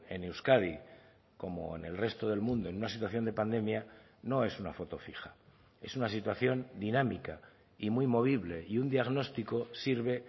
en euskadi como en el resto del mundo en una situación de pandemia no es una foto fija es una situación dinámica y muy movible y un diagnóstico sirve